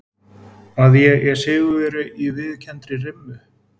Að ég er sigurvegari í viðurkenndri rimmu.